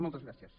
moltes gràcies